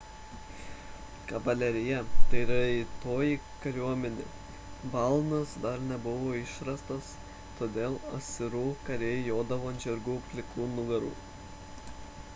kavalerija – tai raitoji kariuomenė balnas dar nebuvo išrastas todėl asirų kariai jodavo ant žirgų plikų nugarų